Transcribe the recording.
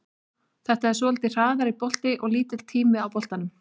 Þetta er svolítið hraðari bolti og lítill tími á boltanum.